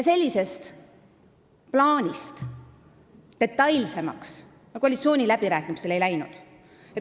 Sellest plaanist detailsemaks me koalitsiooniläbirääkimistel ei läinud.